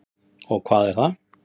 Og hvað er það?